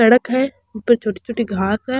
सड़क है ऊपे छोटी छोटी घास है।